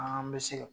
An bɛ se ka